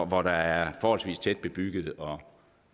hvor der er forholdsvis tæt bebygget og